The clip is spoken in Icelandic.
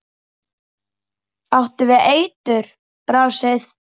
Áttu við eitur. brasið?